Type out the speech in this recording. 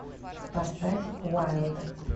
поставь вайлд